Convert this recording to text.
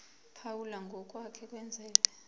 phawula ngokwake kwenzeka